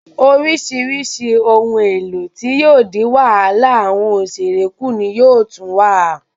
Orísirísi ohun èlò tí yóò dín wàhálà awọn òṣèré ku ni yóò tún wà